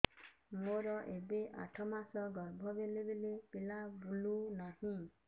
ମୋର ଏବେ ଆଠ ମାସ ଗର୍ଭ ବେଳେ ବେଳେ ପିଲା ବୁଲୁ ନାହିଁ